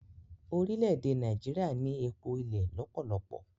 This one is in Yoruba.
Orile-ede Naijiria ni Epo ilẹ lọpọlọpọ.